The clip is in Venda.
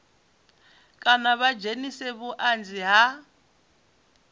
kana vha dzhenise vhuanzi ha